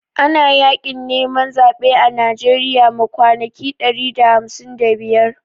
Ana Yaƙin neman zaɓe a Najeriya ma kwanaki ɗari da hamsin da biyar